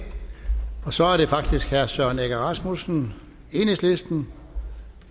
og så er det faktisk herre søren egge rasmussen enhedslisten